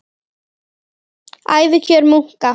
Ævikjör munka